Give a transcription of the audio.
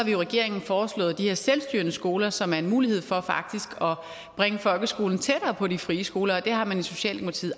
i regeringen foreslået de her selvstyrende skoler som faktisk er en mulighed for at bringe folkeskolen tættere på de frie skoler og det har man i socialdemokratiet